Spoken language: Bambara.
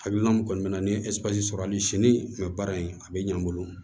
Hakilina min kɔni bɛ na ni sɔrɔ hali sini baara in a bɛ ɲɛ n bolo